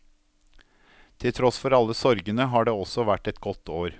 Til tross for alle sorgene, har det også vært et godt år.